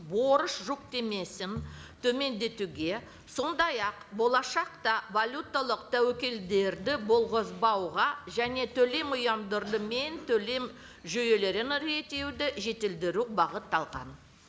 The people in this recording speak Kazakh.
борыш жүктемесін төмендетуге сондай ақ болашақта валюталық тәуекелдерді болғызбауға және төлем төлем жүйелерін реттеуді жетілдіру бағытталған